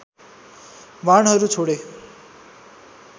बाणहरू छोडे